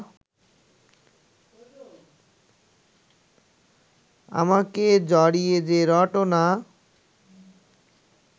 আমাকে জড়িয়ে যে রটনা